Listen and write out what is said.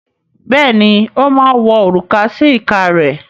Bẹ́ẹ̀ ni, ó máa wọ òrùka sí ìka rẹ̀.